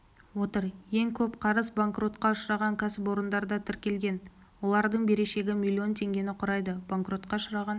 отыр ең көп қарыз банкротқа ұшыраған кәсіпорындарда тіркелген олардың берешегі миллион теңгені құрайды банкротқа ұшыраған